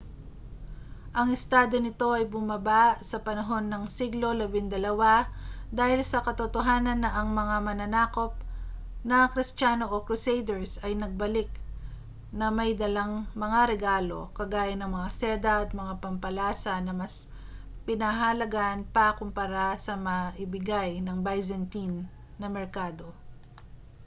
ang estado nito ay bumaba sa panahon ng siglo labindalawa dahil sa katotohanan na ang mga mananakop na kristiyano o crusaders ay nagbalik na may dalang mga regalo kagaya ng mga seda at mga pampalasa na mas pinahahalagahan pa kumpara sa maibigay ng byzantine na merkado